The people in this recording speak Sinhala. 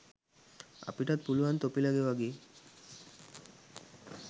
අපිටත් පුළුවන් තොපිලගේ වගේ